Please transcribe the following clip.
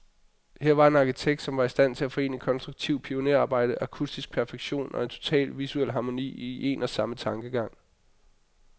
Her var en arkitekt, som var i stand til at forene konstruktivt pionerarbejde, akustisk perfektion, og en total visuel harmoni, i en og samme tankegang.